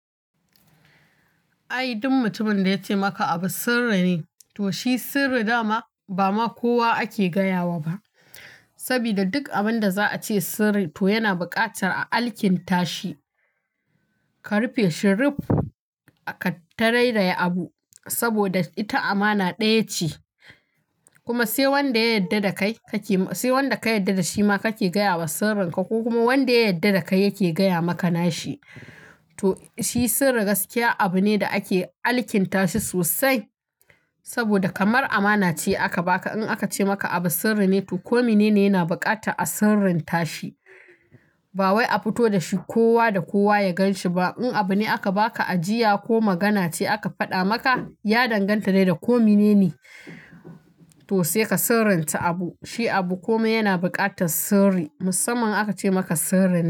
Ai duk mutumin da ya ce maka abu sirri ne, to shi sirri dama ba ma kowa ake gaya wa ba. Saboda duk abin da za a ce sirri, to yana buƙatar a alkinta shi. Ka rufe shi ruf, ka tararaye abu saboda ita amana ɗaya ce. Kuma sai wanda ka yadda da shi ma kake gaya wa sirrinka ko kuma wanda ya yadda da kai yake gaya maka nashi. To shi sirri gaskiya abu ne da ake alkinta shi sosai saboda kamar amana ce aka baka. In aka ce maka abu sirri ne to kome ne ne yana bukata a sirrinta shi. Ba wai a fito da shi kowa da kowa ya gan shi ba. In abu ne aka baka ajiya ko magana ce aka faɗa maka, ya danganta dai da kome ne ne. To sai ka sirrinta abu. Shi abu kome yana buƙatar sirri. Musamman aka ce maka sirri ne.